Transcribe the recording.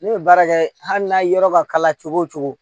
Ne bɛ baara kɛ hali n'a yɔrɔ ka kala cogo o cogo